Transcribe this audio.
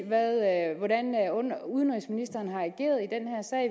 hvordan udenrigsministeren har i og